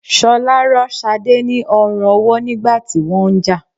Ṣọlá rọ́ Ṣadé ni ọrùn ọwọ́ nígbà tí wọ́n ń jà